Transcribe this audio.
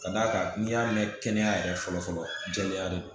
Ka d'a kan n'i y'a mɛn kɛnɛya yɛrɛ fɔlɔ fɔlɔ jɛlenya de don